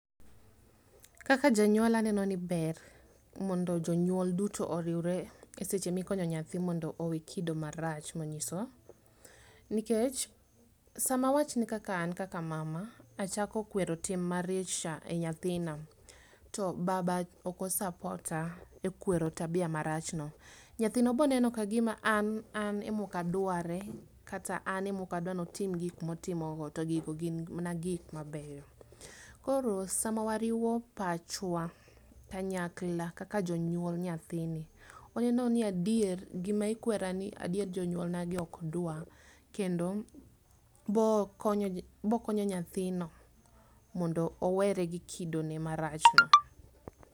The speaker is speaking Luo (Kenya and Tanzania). Kaka janyuol aneno ni ber mondo jonyuol duto oriwre e seche mokinyo nyathi mondo owe kido marach monyiso. Nikech, sama awachni ni kaka an kaka mama achako kwero tim mar cha e nyathina, to baba okosapota e kwero tabia marachno, nyathino boneno kagima an an emokadware kata ane mokadwa notim gik motimogo to gigo gin mna gik mabeyo. Koro sama wariwo pachwa kanyakla kaka jonyuol nyathini, oneno ni adier, gima ikwerani adier jonyuolnagi okdwa, kendo bokonyo bokonyo nyathino mondo owere gi kidone marachno.